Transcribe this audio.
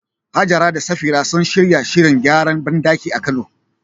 Hajara da Safira sun shirya shirin gyaran bandaki a Kano